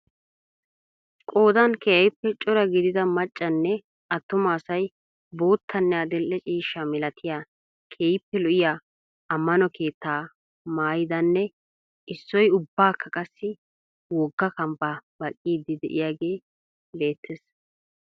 Qoodan keehiippe cora gidida maccanne attuma asay boottanne adil"e ciishsha malattiya keehiippe lo'iya amano keettaa maayidanne issoy ubbakka qassi wogga kambba baqqiidi de'iyaagee beettees.